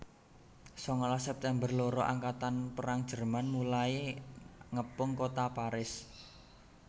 Sangalas September loro angkatan perang Jerman mulai ngepung kota Paris